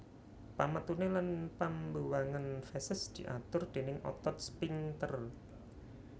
Pametuné lan pambuwangan feses diatur déning otot sphinkter